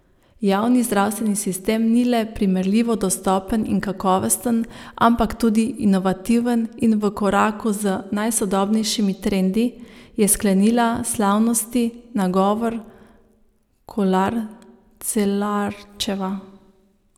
Javni zdravstveni sistem ni le primerljivo dostopen in kakovosten, ampak tudi inovativen in v koraku z najsodobnejšimi trendi, je sklenila slavnosti nagovor Kolar Celarčeva.